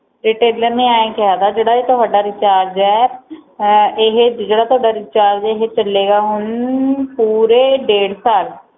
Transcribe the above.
retailor ਨੇ ਐ ਕਿਆ ਵਾ ਜਿਹੜਾ ਤੁਹਾਡਾ ਰਿਚਾਰਜ ਵਾ ਅਹ ਜਿਹੜਾ ਤੁਹਾਡਾ ਰਿਚਾਰਜ ਵਾ ਇਹ ਚਲੇ ਗਿਆ ਹੁਣ ਪੂਰੇ ਡੇਢ ਸਾਲ